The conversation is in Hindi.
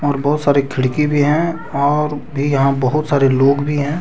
और बहोत सारे खिड़की भी है और भी बहुत सारे लोग भी है।